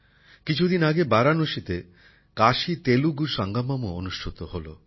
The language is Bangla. কিছুদিন আগে বারাণসীতে কাশীতেলুগু সঙ্গমমও অনুষ্ঠিত হল